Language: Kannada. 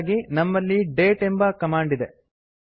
ಇದಕ್ಕಾಗಿ ನಮ್ಮಲ್ಲಿ ಡೇಟ್ ಎಂಬ ಕಮಾಂಡ್ ಇದೆ